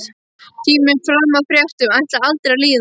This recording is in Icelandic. Tíminn fram að fréttum ætlaði aldrei að líða.